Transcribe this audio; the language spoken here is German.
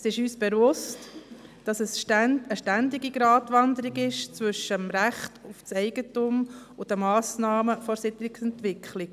Es ist uns bewusst, dass es eine ständige Gratwanderung ist zwischen dem Recht auf Eigentum und den Massnahmen der Siedlungsentwicklung.